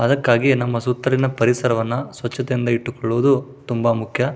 ಅದಕ್ಕಾಗಿ ನಮ್ಮ ಸುತ್ತಲಿನ ಪರಿಸರವನ್ನು ಸ್ವಚ್ಛತೆ ಇಂದ ಇಟ್ಟುಕೊಳ್ಳುವುದು ತುಂಬಾ ಮುಖ್ಯ.